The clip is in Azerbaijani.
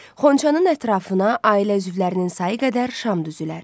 Xonçanın ətrafına ailə üzvlərinin sayı qədər şam düzülər.